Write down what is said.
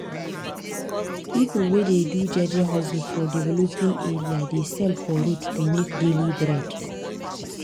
people wey dey do jeje hustle for developing area dey sell for road to make daily bread.